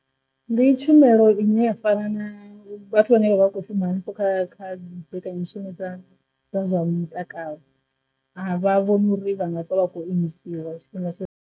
Ndi tshumelo nnyi a fara na vhathu vhane vha vha kho shuma hanefho kha kha bata mishumo dza dza zwa mutakalo a vha vhone uri vha nga pfa vha kho imisiwa tshifhinga tshoṱhe.